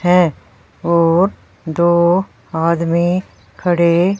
हैं और दो आदमी खड़े--